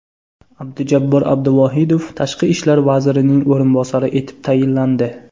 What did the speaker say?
Abdujabbor Abduvohidov Tashqi ishlar vazirining o‘rinbosari etib tayinlandi.